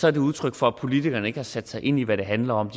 er det udtryk for at politikerne ikke har sat sig ind i hvad det handler om